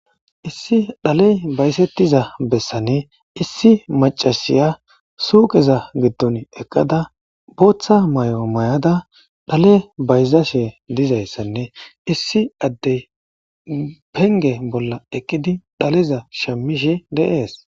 issi dhaley baysettiza bessane issi macashiya suuqeza giddon eqqada booththa may7o may7ada dhale bayzashe dizayssanne issi addey penge bolla eqidi dhaleza shamishe deees